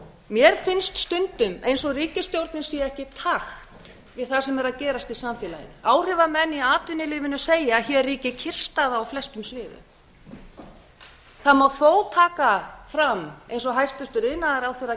mér finnst stundum eins og ríkisstjórnin sé ekki í takt við það sem er að gerast í samfélaginu áhrifamenn í atvinnulífinu segja að hér ríki kyrrstaða á flestum sviðum það má þó taka fram eins og hæstvirtur iðnaðarráðherra